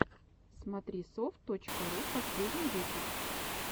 смотрисофт точка ру последний выпуск